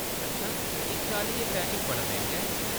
अच्छा, इस चाल्ली, एह् पैकेज बड़ा मैंह्‌‌गा ऐ।